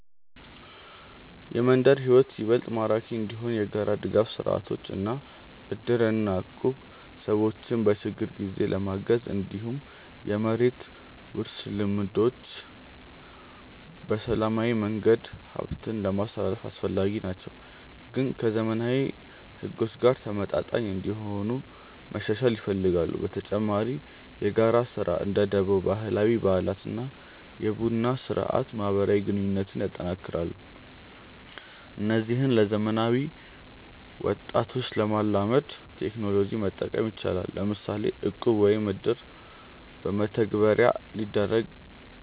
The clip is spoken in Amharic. የመንደር ሕይወት ይበልጥ ማራኪ እንዲሆን የጋራ ድጋፍ ስርዓቶች እንደ እድር እና እቁብ ሰዎችን በችግር ጊዜ ለማገዝ፣ እንዲሁም የመሬት ውርስ ልምዶች በሰላማዊ መንገድ ሀብትን ለማስትላልፍ አስፈላጊ ናቸው፣ ግን ከዘመናዊ ሕጎች ጋር ተመጣጣኝ እንዲሆኑ መሻሻል ይፈልጋሉ። በተጨማሪ የጋራ ስራ (እንደ ደቦ)፣ ባህላዊ በዓላት እና የቡና ስርአት ማህበራዊ ግንኙነትን ያጠናክራሉ። እነዚህን ለዘመናዊ ወጣቶች ለማላመድ ቴክኖሎጂ መጠቀም ይቻላል፤ ለምሳሌ እቁብ ወይም እድር በመተግበሪያ ሊደረግ